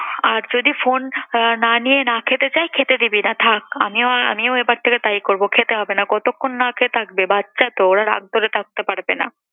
আর যদি phone আহ না নিয়ে না খেতে চায় খেতে দিবি না থাক। আমিও আর আমিও এবার থেকে তাই করব খেতে হবে না। কতক্ষন না খেয়ে থাকবে? বাচ্চা তো ওরা রাগ ধরে থাকতে পারবে না।